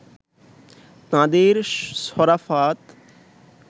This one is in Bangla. তাঁদের সরাফত